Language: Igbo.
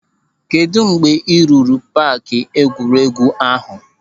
Kedụ mgbe a rụrụ paaki egwuregwu ahụ?